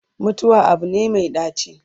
mutuwa Abu ne Mai ɗaci